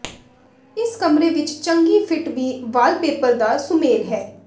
ਇਸ ਕਮਰੇ ਵਿੱਚ ਚੰਗੀ ਫਿੱਟ ਵੀ ਵਾਲਪੇਪਰ ਦਾ ਸੁਮੇਲ ਹੈ